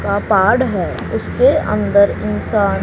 का पाड़ है उसके अंदर इंसान--